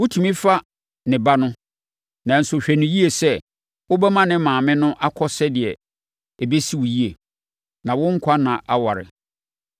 Wotumi fa ne ba no, nanso hwɛ no yie sɛ wobɛma ne maame no akɔ sɛdeɛ ɛbɛsi wo yie, na wo nkwa nna aware.